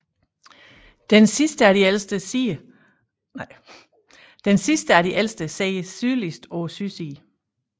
Den sidste af de ældste sidder sydligst på sydsiden